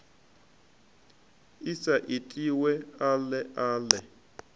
i sa itiwe ale ale